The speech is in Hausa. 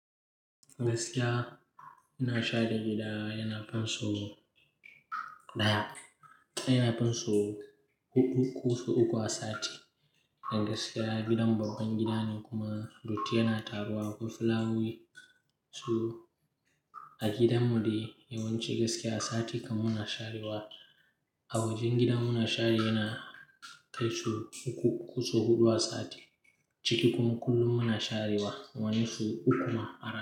Gaskiya ina share gida yana fin so ɗaya, yana fin sau huɗu kusan uku a sati. Da gaskiya gidan babban gida ne kuma datti yana taruwa ko fulawa su a gidan mu dai yawanci gaskiya a sati kam muna sharewa. A wajen gidan muna share yana kai sau uku kusan huɗu a sati. Ciki kuma kullum muna sharewa wani so uku ma a sati.